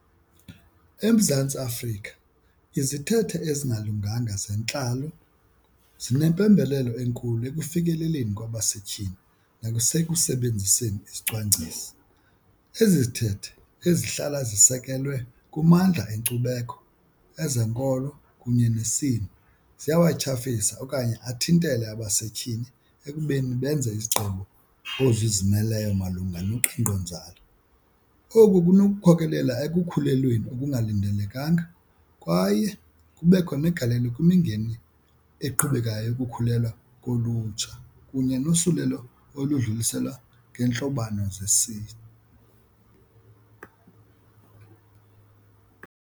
EMzantsi Afrika izithethe ezingalunganga zentlalo zinempembelelo enkulu ekufikeleleni kwabasetyhini nasekusebenziseni izicwangciso. Ezi zithethe ezihlala zisekelwe kumandla enkcubeko, ezenkolo kunye nesini ziyawatyhafisa okanye athintele abasetyhini ekubeni benze izigqibo ozizimeleyo malunga noqhinkqonzalo. Oku kunokukhokelela ekukhulelweni okungalindelekanga kwaye kubekho negalelo kwimingeni eqhubekayo yokukhulelwa kolutsha kunye nosulelo oludluliselwa ngeentlobano .